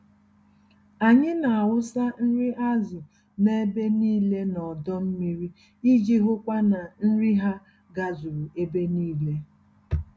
Anyị n'awụsa nri azụ n'ebe nílé n'ọdọ mmiri iji hụkwa na nri ha gazuru ebe nílé.